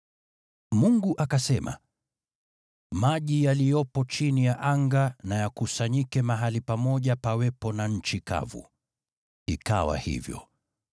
Mungu akasema, “Maji yaliyopo chini ya anga na yakusanyike mahali pamoja, pawepo na nchi kavu.” Ikawa hivyo.